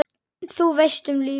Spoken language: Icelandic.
Þú veist, um lífið?